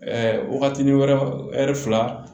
waatinin wɛrɛ fila